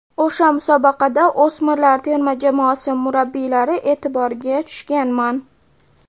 O‘sha musobaqada o‘smirlar terma jamoasi murabbiylari e’tiboriga tushganman.